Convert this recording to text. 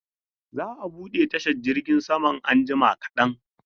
Za a bude tashar jirgin saman anjima kadan.